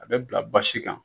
A bɛ bila basi kan